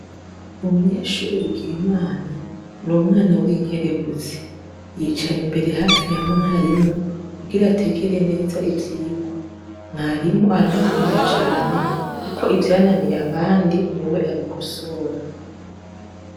Umunyeshuri Bigirimana n'umwana w'inkerebuzi ,yicara imbere hafi ya mwarimu kugira ategere neza ibyigwa mwarimu aramukunda cane kuko ivyananiye abandi ni we abikosora.